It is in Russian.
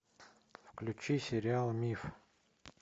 включи сериал миф